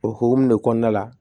O hokumu de kɔnɔna la